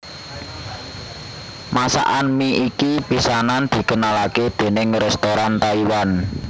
Masakan mi iki pisanan dikenalake déning restoran Taiwan